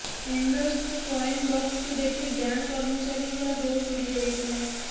ଏଣ୍ଡର୍ସଙ୍କ coin ବକ୍ସକୁ ଦେଖି bank କର୍ମଚାରୀଙ୍କର ହୋସ ଉଡ଼ି ଯାଇଥିଲା